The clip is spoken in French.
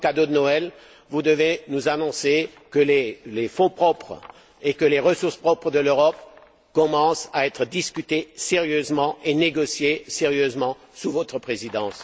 Et comme cadeau de Noël, vous devez nous annoncer que les fonds propres et que les ressources propres de l'Europe commencent à être discutés sérieusement et négociés sérieusement sous votre présidence.